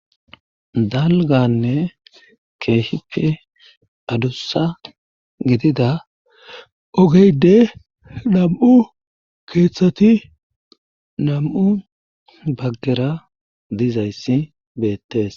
Dalganne keehife adussa gidida ogeyde nam7u keeththati nam7u bagdera diizayssi beettees.